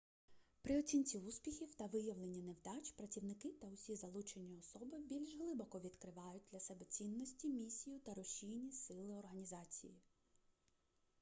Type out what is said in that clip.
при оцінці успіхів та виявленні невдач працівники та усі залучені особи більш глибоко відкривають для себе цінності місію та рушійні сили організації